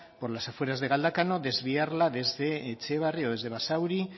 por las afueras de galdakao desviarla desde etxebarri o desde basauri